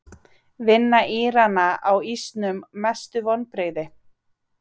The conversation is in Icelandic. Vinna Írana á ísnum Mestu vonbrigði?